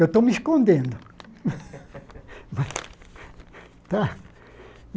Eu estou me escondendo.